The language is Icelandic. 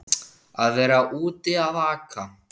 Að vera úti að aka